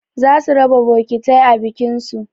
Za su raba bokitai a bikin su